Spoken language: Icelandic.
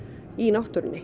í náttúrunni